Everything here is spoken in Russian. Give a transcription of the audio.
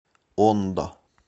ондо